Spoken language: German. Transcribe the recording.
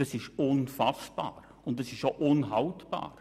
Das ist unfassbar, und es ist auch unhaltbar.